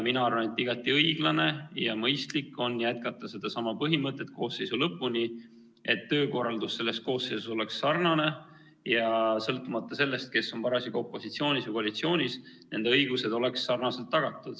Mina arvan, et igati õiglane ja mõistlik on jätkata sellesama põhimõttega koosseisu lõpuni, nii et töökorraldus selles koosseisus oleks sarnane ja sõltumata sellest, kes on parasjagu opositsioonis või koalitsioonis, oleks nende õigused sarnaselt tagatud.